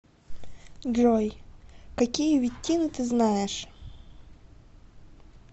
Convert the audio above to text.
джой какие веттины ты знаешь